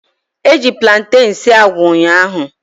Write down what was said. Eji platen sie agwa ụnyaahụ